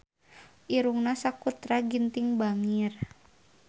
Irungna Sakutra Ginting bangir